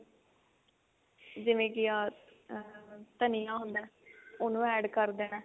ਜਿਵੇਂ ਕੀ ਆਹ ਧਨੀਆ ਹੁੰਦਾ ਉਹਨੂੰ add ਕਰ ਦੇਣਾ